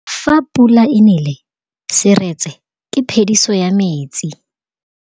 Fa pula e nelê serêtsê ke phêdisô ya metsi.